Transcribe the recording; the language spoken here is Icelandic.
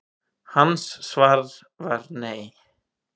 Hans svar var nei.